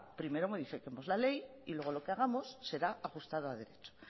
primero modificamos la ley y luego lo que hagamos será ajustada a derecho